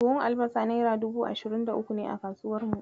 Buhun albasa naira dubu ashirin da uku ne a kasuwar mu.